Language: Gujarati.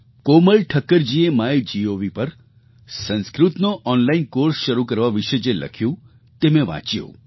કોમલ ઠક્કરજીએ માયગોવ પર સંસ્કૃતનો ઑનલાઇન કૉર્સ શરૂ કરવા વિશે જે લખ્યું તે મેં વાંચ્યું